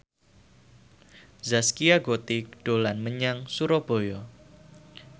Zaskia Gotik dolan menyang Surabaya